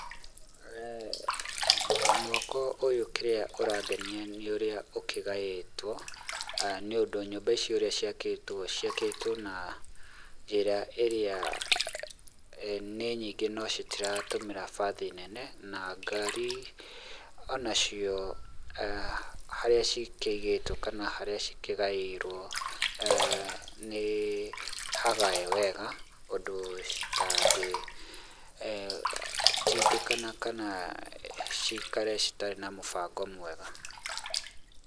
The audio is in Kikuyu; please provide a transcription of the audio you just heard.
Mwako ũyũ kĩrĩa ũrangenia nĩ ũrĩa ũkĩgaĩtwo, nĩ ũndũ nyũmba ici ũrĩa ciakĩtwo, ciakĩtwo na njĩra ĩrĩa, nĩ nyingĩ no citiratũmĩra bathi nene na ngari o nacio harĩa cikĩigĩtwo kana harĩa cikĩgayĩirwo, nĩ hagae wega, ũndũ citangĩ tindĩkana kana cikare citarĩ na mũbango mwega.